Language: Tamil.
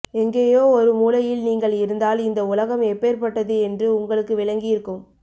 எங்கேயோ ஒரு மூலையில் நீங்கள் இருந்தால் இந்த உலகம் எப்பேற்பட்டது என்று உங்களுக்கு விளங்கியிருக்கும்